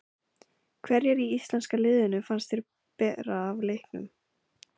Hverjir í íslenska liðinu fannst þér bera af í leiknum?